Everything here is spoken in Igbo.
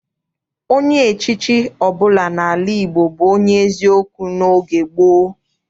Onye echichi ọbụla n'ala Igbo bụ onye eziokwu n'oge gboo.